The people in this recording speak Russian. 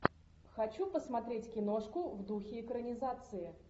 хочу посмотреть киношку в духе экранизации